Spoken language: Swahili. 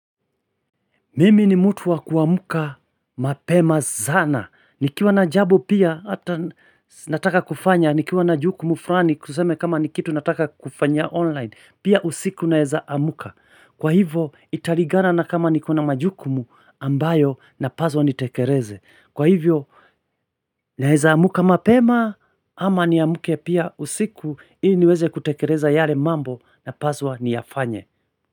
Mimi ni mtu wa kuamka mapema sana. Nikiwa na jambo pia hata nataka kufanya. Nikiwa na jukumu fulani tuseme kama ni kitu nataka kufanya online. Pia usiku naeza amka. Kwa hivo italingana na kama niko na majukumu ambayo napaswa nitekeleze. Kwa hivyo naeza amka mapema ama niamke pia usiku. Ili niweze kutekeleza yale mambo napaswa niyafanye.